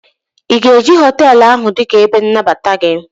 ị ga-eji họtelu ahụ dị ka ebe nnabata gị?